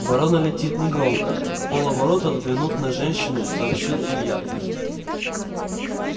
ворона летит негромко вполоборота взглянув на женщину сообщил илья